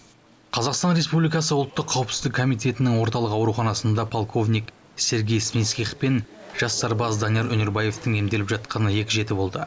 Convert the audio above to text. қазақстан республикасы ұлттық қауіпсіздік комитетінің орталық ауруханасында полковник сергей смитских пен жас сарбаз данияр өнербаевтың емделіп жатқанына екі жеті болды